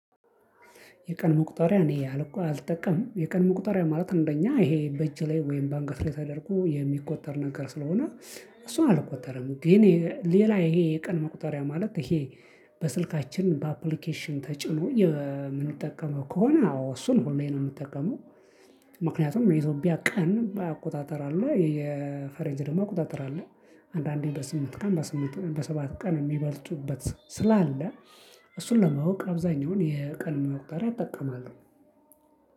የቀን ሙቁጠሪያ እኔ አልጠቀምም የቀን ሙቁጠሪያ ማለት እንደ እኛ ይሄ በእጅ ላይ ወይም ባአንገት ላይ ተደርጎ የሚቆጠር ነገር ስለሆነ። እሱን አልቆጠረም ግን ሌላ ይሄ የቀን መቁጠሪያ ማለት ይሄ። በስልካችን በአፕሊኬሽን ተጭኖ የምንጠቀመው ከሆነ አዎ እሱን ሁሌ ነው የምጠቀመው። የኢትዮጵያ ቀን አቆጣጠር አለው የፈረንጅ ደግሞ አቆጣጠር አለው። አንዳንዴ በስምንት ቀን በስምንት በሰባት ቀን የሚበልጡበት ስላለ። እሱን ለማወቅ አብዛኛውን የቀን መቁጠሪያ እጠቀማለሁ።